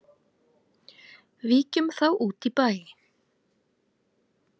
Víkjum þá út í bæ.